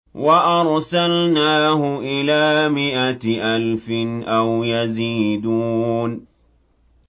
وَأَرْسَلْنَاهُ إِلَىٰ مِائَةِ أَلْفٍ أَوْ يَزِيدُونَ